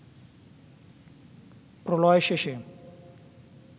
প্রলয় শেষে